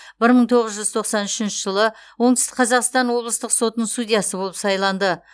бір мың тоғыз жүз тоқсан үшінші жылы оңтүстік қазақстан облыстық сотының судьясы болып сайланды